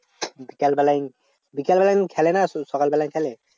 বিকালবেয়াই বিকালবেলায় খেলে না শুধু সকাল বেলায় খেলে?